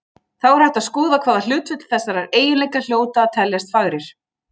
Þá er hægt að skoða hvaða hlutföll þessara eiginleika hljóta að teljast fagrir.